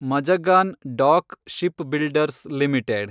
Mazagon dock shipbuilders limited